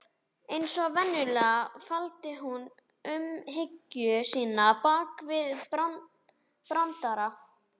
Eins og venjulega, faldi hún umhyggju sína bak við brandara.